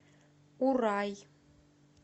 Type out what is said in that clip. урай